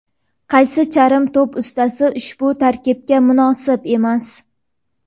qaysi charm to‘p ustasi ushbu tarkibga munosib emas?.